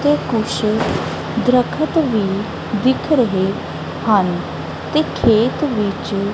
ਤੇ ਕੁਝ ਦਰਖਤ ਵੀ ਦਿੱਖ ਰਹੇ ਹਨ ਤੇ ਖੇਤ ਵਿੱਚ।